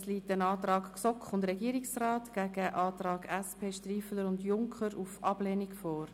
Es liegt ein Antrag GSoK und Regierungsrat gegen einen Antrag SP-JUSO-PSA/Striffeler-Mürset/Junker Burkhard auf Ablehnung vor.